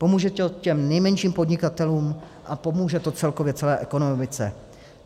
Pomůže to těm nejmenším podnikatelům a pomůže to celkově celé ekonomice.